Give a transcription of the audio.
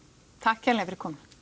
takk kærlega fyrir komuna